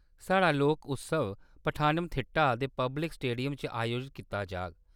साढ़ा लोक उत्सव पठानमथिट्टा दे पब्लिक स्टेडियम च आयोजत कीता जाग।